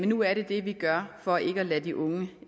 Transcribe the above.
nu er det det vi gør for ikke at lade de unge